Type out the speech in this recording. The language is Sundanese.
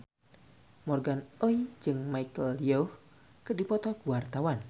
Morgan Oey jeung Michelle Yeoh keur dipoto ku wartawan